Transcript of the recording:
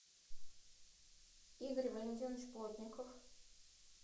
игорь валентинович плотников